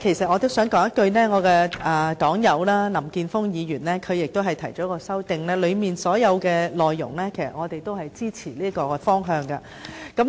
我的黨友林健鋒議員就議案提出了修正案，當中所有的內容同樣支持議案提出的方向。